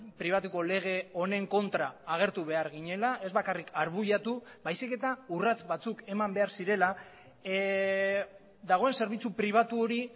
pribatuko lege honen kontra agertu behar ginela ez bakarrik arbuiatu baizik eta urrats batzuk eman behar zirela dagoen zerbitzu pribatu hori